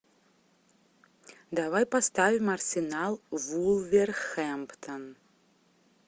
давай поставим арсенал вулверхэмптон